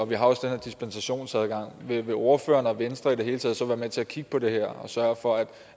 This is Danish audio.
vi har også den her dispensationsadgang vil ordføreren og venstre i det hele taget så være med til at kigge på det her og sørge for